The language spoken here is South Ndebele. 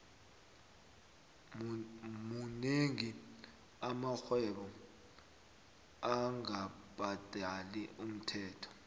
monengi amarhwebo angabhadali umthelo